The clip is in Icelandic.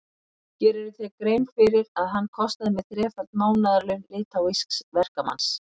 Gerirðu þér grein fyrir að hann kostaði mig þreföld mánaðarlaun litháísks verkamanns?